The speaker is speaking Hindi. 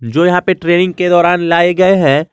जो यहां पे ट्रेनिंग के दौरान लाए गए हैं।